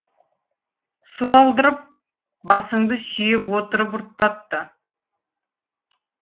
су алдырып басыңды сүйеп отырып ұрттатты